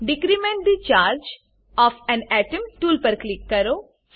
decrement the charge of an atom tool પર click કરો